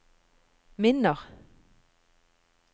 minner